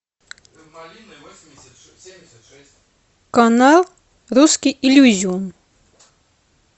канал русский иллюзион